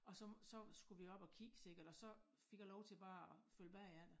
Og så så skulle vi op og kigge sikkert og så fik jeg lov til bare at følge bagefter